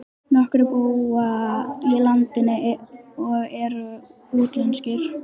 Nokkrir búa í útlandinu og eru útlenskir.